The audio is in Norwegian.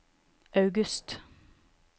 august